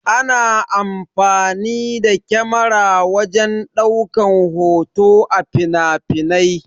Ana amfani da kyamara wajen ɗaukan hoto a finafinai.